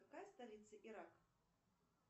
какая столица ирака